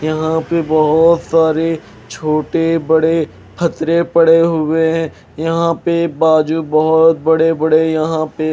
यहाँ पे बहोत सारे छोटे बड़े खतरे पड़े हुए हैं यहाँ पे बाजू बहोत बड़े बड़े यहाँ पे--